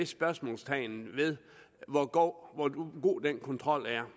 spørgsmålstegn ved hvor god den kontrol er